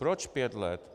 Proč pět let?